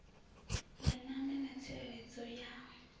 ya ṋama na tsireledzo ya